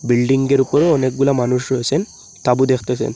বিল্ডিংয়ের উপর অনেকগুলা মানুষ রয়েসেন তাঁবু দেখতেসেন।